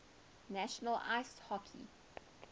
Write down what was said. national ice hockey